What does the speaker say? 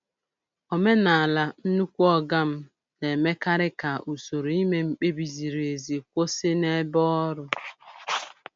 Omenala "nnukwu oga m" na-emekarị ka usoro ime mkpebi ziri ezi kwụsị n'ebe ọrụ.